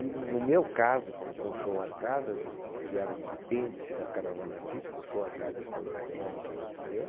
E no meu caso, com com o Show Arcadas, eh, que era um apêndice da Caravana Artística, o Show Arcadas foi o nome que a gente deu,